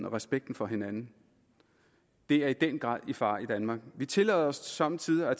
og respekten for hinanden det er i den grad i fare i danmark vi tillader os somme tider at